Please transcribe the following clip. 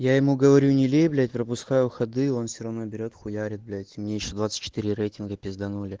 я ему говорю не лей блять пропускаю ходы он все равно берет хуярить блять мне ещё двадцать четыре рейтинга пизданули